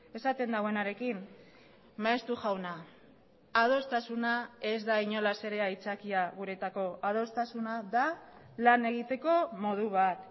esaten duenarekin maeztu jauna adostasuna ez da inolaz ere aitzakia guretzako adostasuna da lan egiteko modu bat